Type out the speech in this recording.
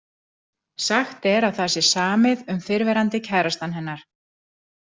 Sagt er að það sé samið um fyrrverandi kærastann hennar.